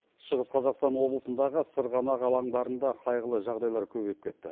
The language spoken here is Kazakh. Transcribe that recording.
шығыс қазақстан облысындағы сырғанақ алаңдарында қайғылы жағдайлар көбейіп кетті